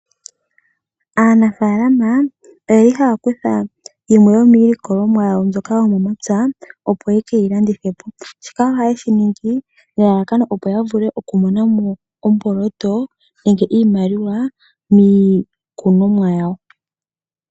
Aanafalama oye li haya kutha yimwe yomiilikolomwa yawo mbyoka yomomapya, opo yekeyi landithe po. Shika ohaye shi ningi nelalakano opo yavule okumona mo omboloto, nenge iimaliwa, miikunomwa yawo.